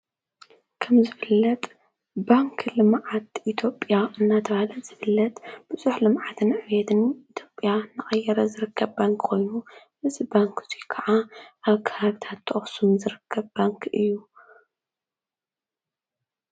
ከም ዝፍለጥ ባንኪ ልምዓት ኢትዮጵያ እናተባሃለ ዝፍለጥ ብዙሕ ልምዓትን ዕብየትን ልምዓትን ኢትዮጵያ እናቀየረ ዝርከብ ባንኪ ኮይኑ እዚ ባንኪ ካዓ ኣብ ከባቢታት ኣክሱም ዝርከብ ባንኪ እዩ።